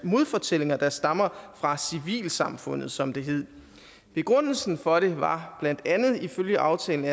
modfortællinger der stammer fra civilsamfundet som det hed begrundelsen for det var blandt andet ifølge aftalen